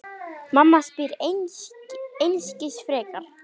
Mamma spyr einskis frekar.